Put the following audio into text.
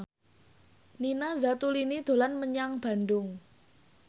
Nina Zatulini dolan menyang Bandung